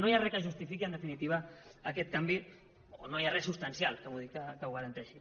no hi ha res que justifiqui en definitiva aquest canvi o no hi ha res substancial que ho garanteixi